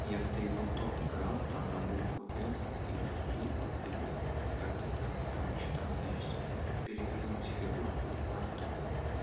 я в тэйбл топ играл там на букву ф или флип или как-то так короче там значит перевернуть фигурку или карту